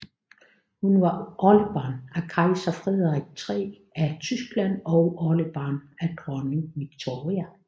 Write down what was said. Hun var oldebarn af kejser Frederik III af Tyskland og oldebarn af dronning Victoria